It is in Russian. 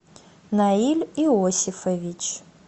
наиль иосифович